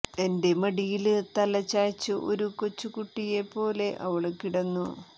എന്റെ മടിയില് തല ചായിച്ചു ഒരു കൊച്ചു കുട്ടിയെ പോലെ അവള് കിടന്നു